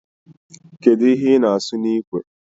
Kedụ ihe ị na-asụ n'ikwe